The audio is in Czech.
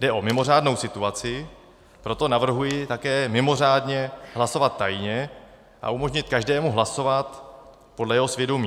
Jde o mimořádnou situaci, proto navrhuji také mimořádně hlasovat tajně a umožnit každému hlasovat podle jeho svědomí.